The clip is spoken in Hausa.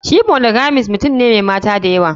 Shi monogamist mutum ne Mai Maya dayawa.